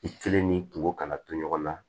I kelen ni kungo kana to ɲɔgɔn na